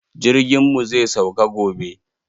Jirgin mu zai sauka gobe.